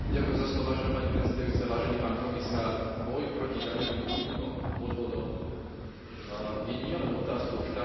Boj proti daňovým únikom a podvodom je nielen otázkou štátnych príjmov, ale aj otázkou spravodlivosti.